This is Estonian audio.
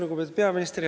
Lugupeetud peaminister!